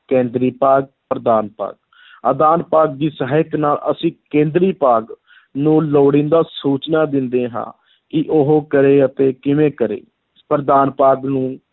ਕੇਂਦਰੀ ਭਾਗ, ਪ੍ਰਦਾਨ ਭਾਗ ਆਦਾਨ ਭਾਗ ਦੀ ਸਹਾਇਤਾ ਨਾਲ ਅਸੀਂ ਕੇਂਦਰੀ ਭਾਗ ਨੂੰ ਲੋੜੀਂਦਾ ਸੂਚਨਾ ਦਿੰਦੇ ਹਾਂ ਕਿ ਉਹ ਕਰੇ ਅਤੇ ਕਿਵੇਂ ਕਰੇ, ਪ੍ਰਦਾਨ ਭਾਗ ਨੂੰ